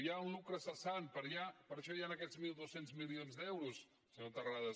hi ha un lucre cessant per això hi han aquests mil dos cents milions d’euros senyor terrades